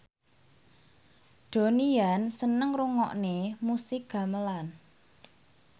Donnie Yan seneng ngrungokne musik gamelan